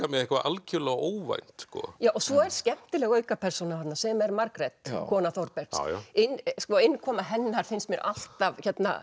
með eitthvað algjörlega óvænt svo er skemmtileg aukapersóna þarna sem er Margrét kona Þórbergs innkoma hennar finnst mér alltaf